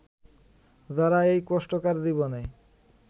যারা এই কষ্টকর জীবনে